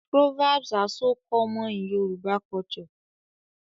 Proverbs are so common in Yoruba culture